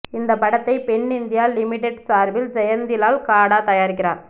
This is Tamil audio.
இந்த படத்தை பென் இந்தியா லிமிடெட் சார்பில் ஜெயந்திலால் காடா தயாரிக்கிறார்